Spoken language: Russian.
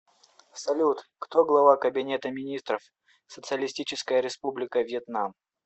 салют кто глава кабинета министров социалистическая республика вьетнам